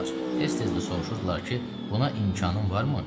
Tez-tez də soruşurdular ki, buna imkanın varmı?